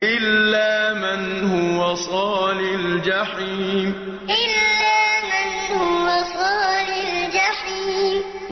إِلَّا مَنْ هُوَ صَالِ الْجَحِيمِ إِلَّا مَنْ هُوَ صَالِ الْجَحِيمِ